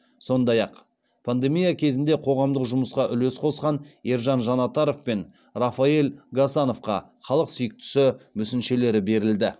сондай ақ пандемия кезеңінде қоғамдық жұмысқа үлес қосқан ержан жанатаров пен рафаэль гасановқа халық сүйіктісі мүсіншелері берілді